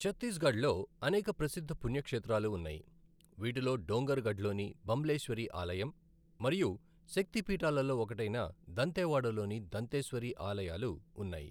చత్తీస్గఢ్లో అనేక ప్రసిద్ధ పుణ్యక్షేత్రాలు ఉన్నాయి, వీటిలో డోంగర్ గఢ్లోని బంబ్లెేశ్వరి ఆలయం మరియు శక్తి పీఠాలలో ఒకటైన దంతెవాడలోని దంతేశ్వరి ఆలయాలు ఉన్నాయి.